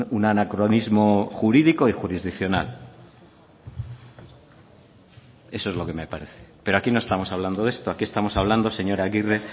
un anacronismo jurídico y jurisdiccional eso es lo que me parece pero aquí no estamos hablando de esto aquí estamos hablando señora agirre